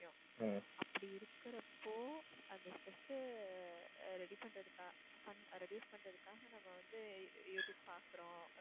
அப்படி இருக்குறப்போ அந்த stress அ ready பண்றதுக்கா~ fun reduce பண்றதுக்காக நம்ம வந்து எதிர் பாக்குறோம்